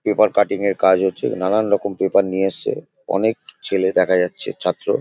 Paper cutting -এর কাজ হচ্ছে। নানান রকম পেপার নিয়ে এসছে । অনেক ছেলে দেখা যাচ্ছে। ছাত্র --